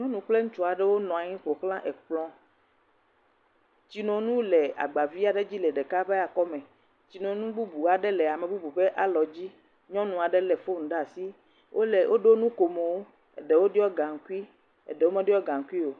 Nyɔnu kple ŋutsu aɖewo nɔ anyi ƒoxla ekplɔ, tsinonu le agba vi aɖe dzi le ɖeka ƒe akɔ me, tsinonu bubu aɖe le ame bubu ƒe alɔ dzi, nyɔnu aɖe lé foni ɖe asi, wole, woɖo nukomo, ame eɖewo ɖɔ gankui, eɖewo meɖɔ gaŋkui o.